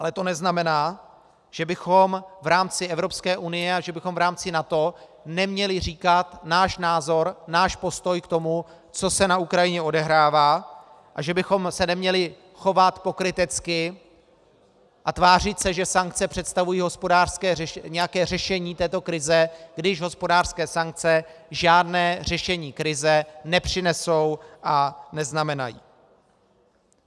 Ale to neznamená, že bychom v rámci Evropské unie a že bychom v rámci NATO neměli říkat náš názor, náš postoj k tomu, co se na Ukrajině odehrává, a že bychom se měli chovat pokrytecky a tvářit se, že sankce představují nějaké řešení této krize, když hospodářské sankce žádné řešení krize nepřinesou a neznamenají.